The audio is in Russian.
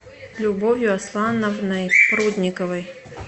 любовью аслановной прудниковой